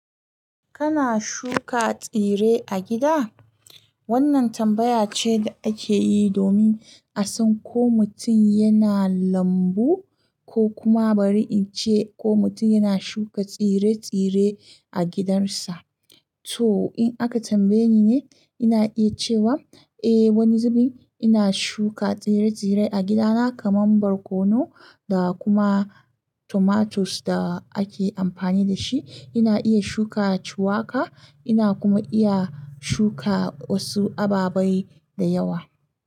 Kana shuka tsire a gida? Wannan tambaya ce da ake yi domin a san ko mutum yana lambu ko kuma bari in ce ko mutum yana shuka tsire-tsire a gidansa. To in aka tambaye ni ne, ina iya cewa eh wani zubin ina shuka tsire-tsire a gidana kamar barkono da kuma tomatoes da ake amfani da shi. Ina iya shuka ciwaka, ina kuma iya shuka wasu ababai da yawa.